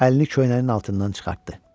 Əlini köynəyinin altından çıxartdı.